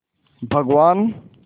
भगवान्